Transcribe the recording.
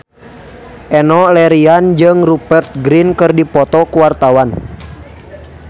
Enno Lerian jeung Rupert Grin keur dipoto ku wartawan